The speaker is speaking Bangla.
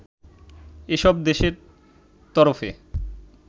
এসব দেশের তরফে